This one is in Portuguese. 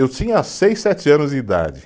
Eu tinha seis, sete anos de idade.